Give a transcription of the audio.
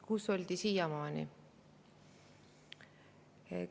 Kus oldi siiamaani?